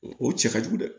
O o cɛ ka jugu dɛ